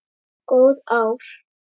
Góð ár.